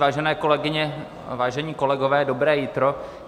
Vážené kolegyně, vážení kolegové, dobré jitro.